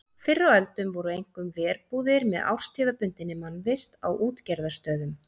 Fyrr á öldum voru einkum verbúðir með árstíðabundinni mannvist á útgerðarstöðum.